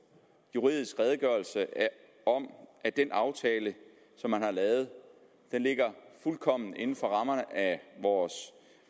juridisk redegørelse om at den aftale som man har lavet ligger fuldkommen inden for rammerne af vores